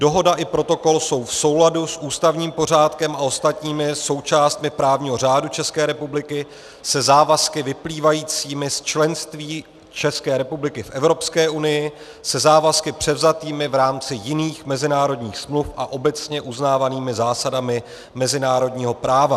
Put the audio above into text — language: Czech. Dohoda i protokol jsou v souladu s ústavním pořádkem a ostatními součástmi právního řádu České republiky, se závazky vyplývajícími z členství České republiky v Evropské unii, se závazky převzatými v rámci jiných mezinárodních smluv a obecně uznávanými zásadami mezinárodního práva.